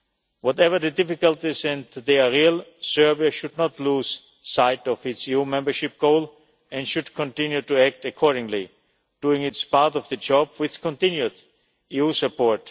Whatever the difficulties and they are real Serbia should not lose sight of its EU membership goal and should continue to act accordingly, doing its part of the job with continued EU support.